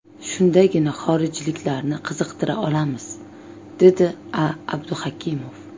Shundagina xorijliklarni qiziqtira olamiz”, dedi A Abduhakimov.